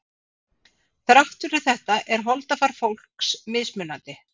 Þrátt fyrir þetta er holdafar fólks mismunandi.